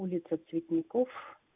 улица цветников